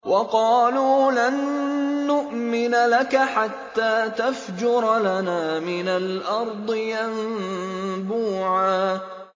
وَقَالُوا لَن نُّؤْمِنَ لَكَ حَتَّىٰ تَفْجُرَ لَنَا مِنَ الْأَرْضِ يَنبُوعًا